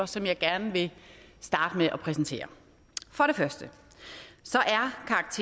som jeg gerne starte med at præsentere for det første